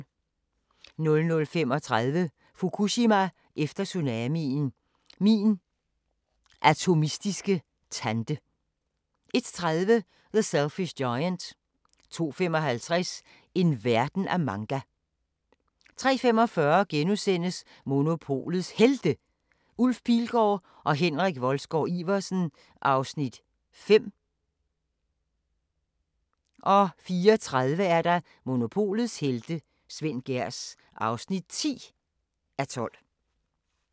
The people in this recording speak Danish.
00:35: Fukushima efter tsunamien – min atomistiske tante 01:30: The Selfish Giant 02:55: En verden af manga 03:45: Monopolets Helte – Ulf Pilgaard og Henrik Wolsgaard-Iversen (5:12)* 04:30: Monopolets helte - Svend Gehrs (10:12)